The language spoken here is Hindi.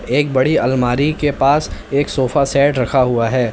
एक बड़ी अलमारी के पास एक सोफा सेट रखा हुआ है।